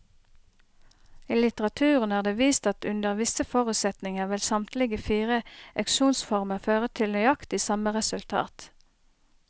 I litteraturen er det vist at under visse forutsetninger vil samtlige fire auksjonsformer føre til nøyaktig samme resultat.